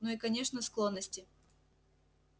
ну и конечно склонности